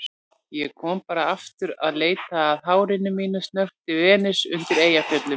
Ég kom bara aftur að leita að hárinu mínu, snökti Venus undan Eyjafjöllum.